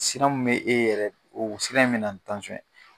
Siran min be e yɛrɛ oo siran in bɛ na ni ye.